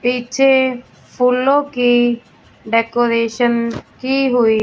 पीछे फूलों की डेकोरेशन की हुई--